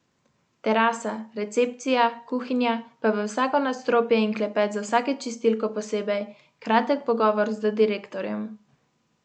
Terasa, recepcija, kuhinja, pa v vsako nadstropje in klepet z vsako čistilko posebej, kratek pogovor z direktorjem.